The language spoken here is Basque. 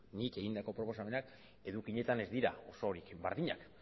nik egindako proposamenak edukietan ez dira osorik berdinak